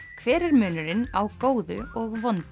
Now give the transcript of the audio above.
hver er munurinn á góðu og vondu